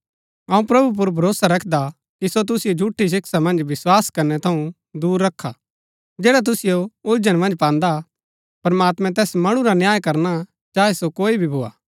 अऊँ प्रभु पुर भरोसा रखदा कि सो तुसिओ झूठी शिक्षा पुर विस्वास करनै थऊँ दूर रखा जैडा तुसिओ उलझन मन्ज पान्दा हा प्रमात्मैं तैस मणु रा न्याय करना चाहे सो कोई भी भोआ